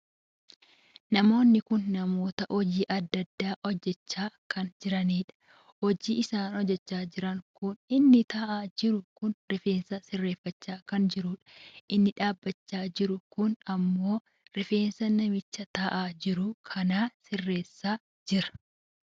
Namoonni kun namoota hojii addaa addaa hojjechaa kan jiraniidha. hojii isaan hojjechaa jiran kun inni taa'aa jiru kun rifeensa sirreeffachaa kan jiruudha. inni dhaabbachaa jiru kun ammoo rifeensa namicha taa'aa jiruu kan sirreessaa kan jiruudha.